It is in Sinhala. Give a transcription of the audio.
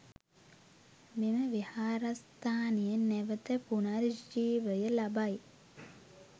මෙම විහාරස්ථානය නැවත පුනර්ජීවය ලබයි.